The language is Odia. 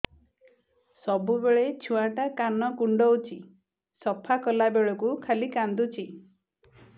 ସବୁବେଳେ ଛୁଆ ଟା କାନ କୁଣ୍ଡଉଚି ସଫା କଲା ବେଳକୁ ଖାଲି କାନ୍ଦୁଚି